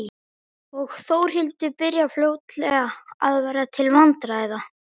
Og Þórhildur byrjar fljótlega að verða til vandræða.